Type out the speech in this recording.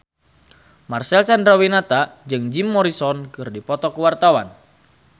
Marcel Chandrawinata jeung Jim Morrison keur dipoto ku wartawan